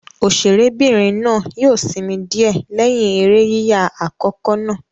Òṣèré'bìnrin náà yóò sinmi díẹ̀ lẹ́yìn eré yíyà àkọ́kọ́ náà.